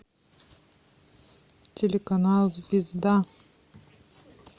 телеканал звезда